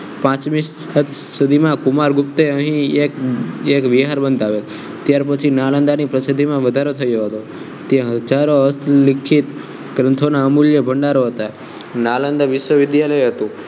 પાંચમી સદી માં કુમારગુપ્તે અહીં એક એક વિહાર બંધાવ્યો ત્યાર પછી નાલંદા ની પ્રસિદ્ધિ માં વધારો થયો હતો ત્યાં હસ્તલિખિત ગ્રંથો નો અમૂલ્ય ભંડારો હતા નાલંદા વિશ્વવિદ્યાલય હતું